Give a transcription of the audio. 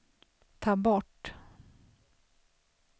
ta bort